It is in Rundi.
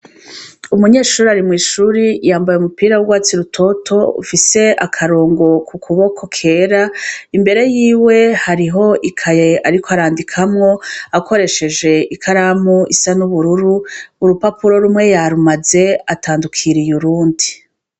Umunyeshuri arimw'ishuri yambaye umupira w’ubwatsi rutoto ufise akarongo ku kuboko kera imbere yiwe hariho ikaye, ariko arandikamwo akoresheje ikaramu isa n'ubururu urupapuro rumwe yarumaze atandukiriye urundi.